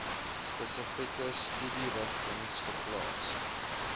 spesifieke studierigtings geplaas